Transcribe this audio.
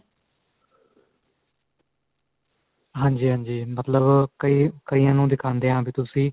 ਹਾਂਜੀ ਹਾਂਜੀ ਮਤਲਬ ਕਈਆਂ ਨੂੰ ਦਿਖਾਂਦੇ ਆ ਵੀ ਤੁਸੀਂ